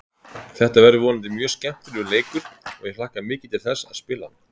Þetta verður vonandi mjög skemmtilegur leikur og ég hlakka mikið til þess að spila hann.